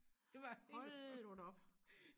det var helt fucked